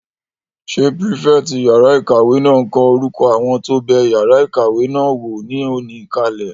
Ṣé pírífẹ̀tì yàrá-ìkàwé náà n kọ orúkọ àwọn tó bẹ yàrá ìkàwé náà wò ní òní kalẹ̀?